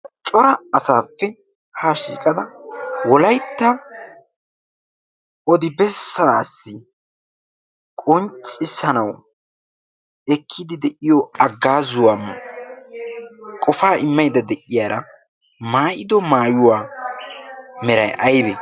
cora asaappi haa shiiqada wolaytta odibessaassi qonccissanawu ekkiidi de'iyo aggaazuwaa qofaa immanidda de'iyaara maayido maayuwaa meray aybe?